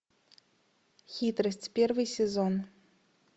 хитрость первый сезон